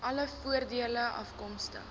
alle voordele afkomstig